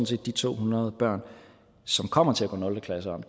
set de to hundrede børn som kommer til at gå nul klasse om